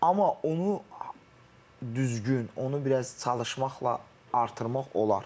Amma onu düzgün, onu biraz çalışmaqla artırmaq olar.